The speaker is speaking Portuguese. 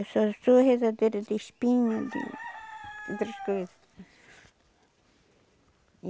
Eu só sou rezadeira de espinha, de... de outras coisas.